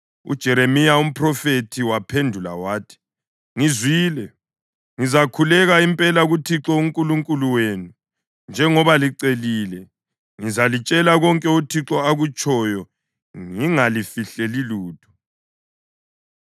UJeremiya umphrofethi waphendula wathi, “Ngizwile. Ngizakhuleka impela kuThixo uNkulunkulu wenu njengoba licelile; ngizalitshela konke uThixo akutshoyo ngingalifihleli lutho.”